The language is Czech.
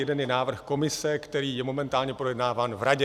Jeden je návrh Komise, který je momentálně projednáván v Radě.